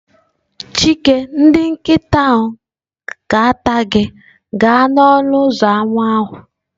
Chike ndị nkịta ga-ata gị gaa n'ọnụ ụzọ ámá ahụ.